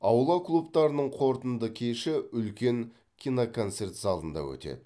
аула клубтарының қорытынды кеші үлкен киноконцерт залында өтеді